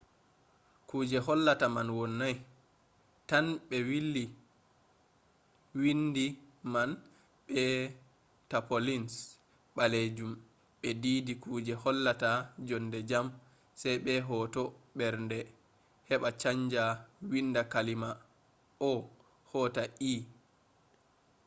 kuje hollata man wonnai tan ɓe willi windi man be tapaulins ɓalejum ɓe diidi kuje hollata jonde jam sai be hoto mbernde heɓa chanja windi kalima o” hota e